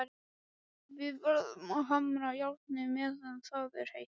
Við verðum að hamra járnið meðan það er heitt.